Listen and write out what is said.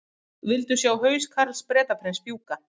Vildu sjá haus Karls Bretaprins fjúka